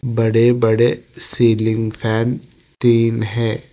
बड़े बड़े ceiling fan तीन है।